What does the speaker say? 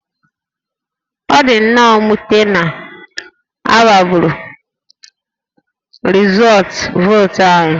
Ọ dị nnọọ mwute na a gbagọrọ rịzọọtụ vootu anyị